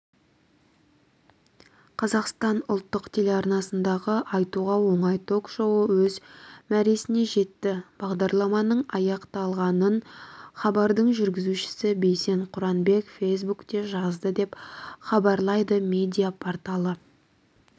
қазақстан ұлттық телеарнасындағы айтуға оңай ток-шоуы өз мәресіне жетті бағдарламаның аяқталғанын хабардың жүргізушісі бейсен құранбек фейсбукте жазды деп хабарлайды медиа-порталы